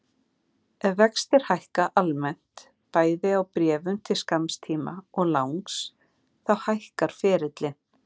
Ef vextir hækka almennt, bæði á bréfum til skamms tíma og langs, þá hækkar ferillinn.